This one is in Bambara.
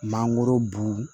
Mangoro bu